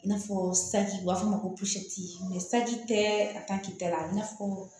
I n'a fɔ saji u b'a f'a ma ko saji tɛ a ta k'i ta la i n'a fɔ